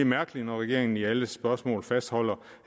mærkeligt når regeringen i alle spørgsmål fastholder